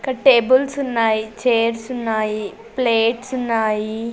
ఇక్కడ్ టేబుల్సున్నాయి చేర్సున్నాయి ప్లేట్సున్నాయి .